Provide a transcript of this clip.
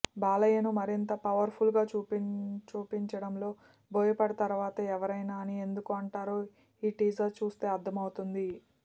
బాలయ్యను మరింత పవర్ఫుల్గా చూపించడంలో బోయపాటి తరువాతే ఎవరైనా అని ఎందుకు అంటారో ఈ టీజర్ చూస్తే అర్థమవుతోంది